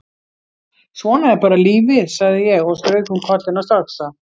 Svona er bara lífið, sagði ég og strauk um kollinn á stráksa.